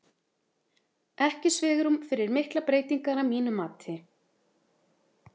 Ekki svigrúm fyrir miklar breytingar að mínu mati.